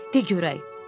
De, de görək.